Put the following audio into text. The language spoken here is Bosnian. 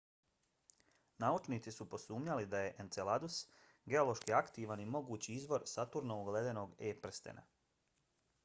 naučnici su posumnjali da je enceladus geološki aktivan i mogući izvor saturnovog ledenog e-prstena